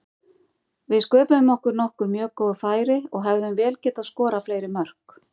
Við sköpuðum okkur nokkur mjög góð færi og hefðum vel getað skorað fleiri mörk.